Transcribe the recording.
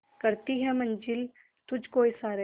करती है मंजिल तुझ को इशारे